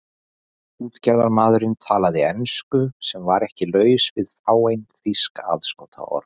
Útgerðarmaðurinn talaði ensku sem var ekki laus við fáein þýsk aðskotaorð.